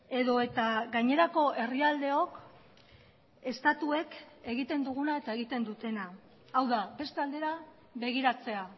edo eta gainerako herrialdeok estatuek egiten duguna eta egiten dutena hau da beste aldera begiratzea